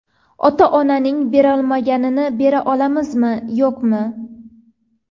Ota-onaning berolmaganini bera olamizmi, yo‘qmi?